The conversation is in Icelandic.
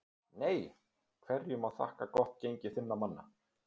NEI Hverju má þakka gott gengi þinna manna?